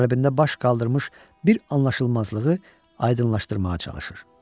Qəlbində baş qaldırmış bir anlaşılmazlığı aydınlaşdırmağa çalışır.